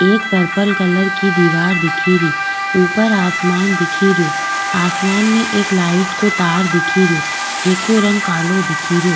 एक purple colour की दिवार दिखेरी ऊपर आसमान दिखरयो आसमान में एक लाइट को तार दिख रियो जेको रंग कालो दिख रियो।